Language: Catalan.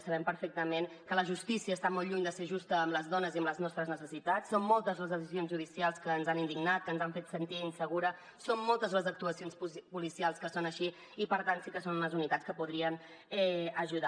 sabem perfectament que la justícia està molt lluny de ser justa amb les dones i amb les nostres necessitats són moltes les decisions judicials que ens han indignat que ens han fet sentir insegures són moltes les actuacions policials que són així i per tant sí que són unes unitats que podrien ajudar